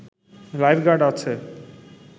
life guard আছে